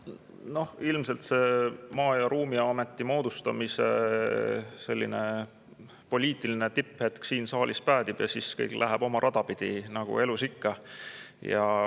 Noh, ilmselt see Maa- ja Ruumiameti moodustamise poliitiline tipphetk siin saalis päädib ja siis kõik läheb oma rada pidi nagu elus ikka.